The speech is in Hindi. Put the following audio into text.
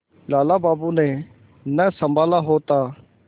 लाला बाबू ने न सँभाला होता